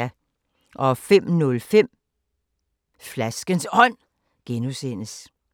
05:05: Flaskens Ånd (G)